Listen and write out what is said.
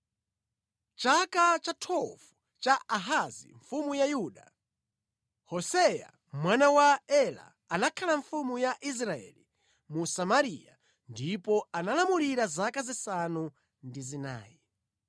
Mʼchaka cha 12 cha Ahazi mfumu ya Yuda, Hoseya mwana wa Ela anakhala mfumu ya Israeli mu Samariya ndipo analamulira zaka zisanu ndi zinayi.